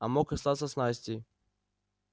а мог остаться с настей